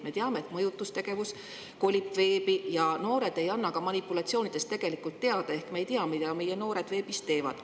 Me teame, et mõjutustegevus kolib veebi ja noored ei anna ka manipulatsioonidest tegelikult teada, ehk me ei tea, mida meie noored veebis teevad.